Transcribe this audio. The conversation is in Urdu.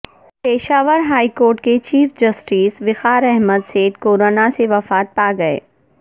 پشاور ہائی کورٹ کے chief justice Waqar Ahmad Seth corona سے وفات پا گئے